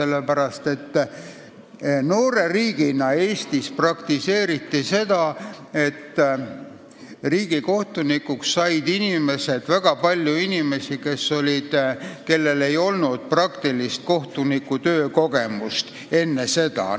Noores Eesti riigis praktiseeriti seda, et väga paljud inimesed, kellel ei olnud praktilist kohtunikutöö kogemust, said riigikohtunikuks.